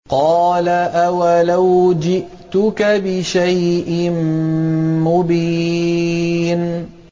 قَالَ أَوَلَوْ جِئْتُكَ بِشَيْءٍ مُّبِينٍ